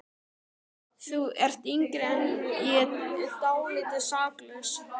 Þú ert yngri en ég og dálítið saklaus.